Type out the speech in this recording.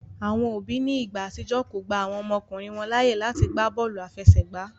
Àwọn òbí ní igbà àtijọ́ kọ gbà àwọn ọmọkùnrin wọn láàyè láàti gbàbóòlù afẹsẹgba